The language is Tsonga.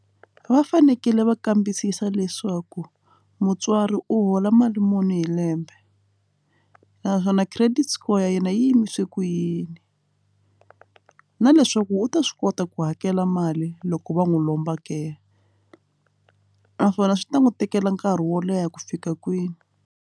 Va fanekele va kambisisa leswaku mutswari u hola mali muni hi lembe naswona credit score ya yena yi yimise ku yini na leswaku u ta swi kota ku hakela mali loko va n'wi lomba ke naswona swi ta n'wi tekela nkarhi wo leha ku fika kwini.